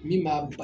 Min b'a